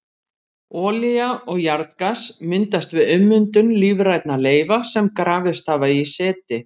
Olía og jarðgas myndast við ummyndun lífrænna leifa sem grafist hafa í seti.